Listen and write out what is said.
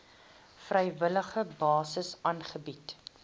vrywillige basis aangebied